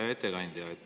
Hea ettekandja!